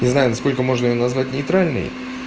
не знаю на сколько можно её назвать нейтральной